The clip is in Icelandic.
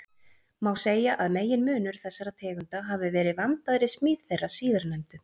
Má segja að meginmunur þessara tegunda hafi verið vandaðri smíð þeirra síðarnefndu.